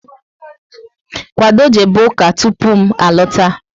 Kwado jebe ụka tụpụ m alota!